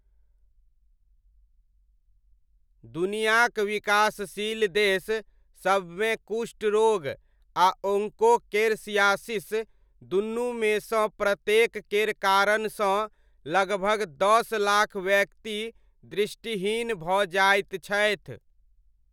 दुनियाक विकासशील देश सबमे कुष्ठ रोग आ ओङ्को केरसियासिस दुनूमे सँ प्रत्येक केर कारणसँ लगभग दस लाख व्यक्ति दृष्टिहीन भऽ जाइत छथि।